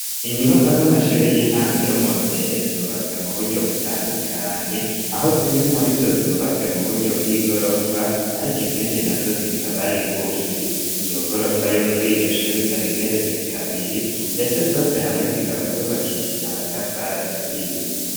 Inyubako z'amashure y'intango yo mu ruhehe zubatswe mu buryo butandukanye aho zimwe muri zo zubatswe mu buryo bw'igorofa, ariko izindi na zo zikabari ingufi iyo gorofa yo kuri iryo shuri ikabigeretse kabiri, ndetse zose hamwe zikaba zubakishije amatafara aturiye.